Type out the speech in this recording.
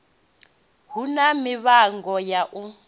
hu na mivhango ya u